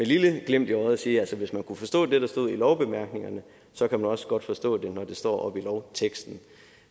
lille glimt i øjet kan sige at hvis man kunne forstå det der står i lovbemærkningerne så kan man også godt forstå det når det står oppe i lovteksten